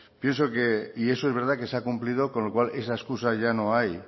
pienso y eso es verdad que se ha cumplido con lo cual esa excusa ya no hay